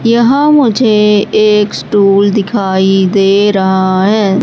यहां मुझे एक स्टूल दिखाई दे रहा है।